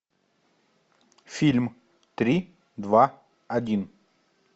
фильм три два один